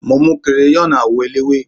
mo mu crayon àwọn ẹlẹwe